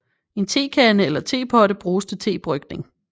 En tekande eller tepotte bruges til tebrygning